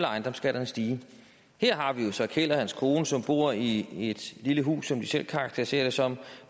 ejendomsskatterne stige her har vi så keld og hans kone som bor i et lille hus som de selv karakteriserer det som